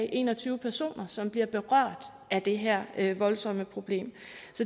en og tyve personer som bliver berørt af det her her voldsomme problem